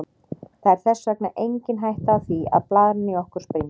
Það er þess vegna engin hætta á því að blaðran í okkur springi.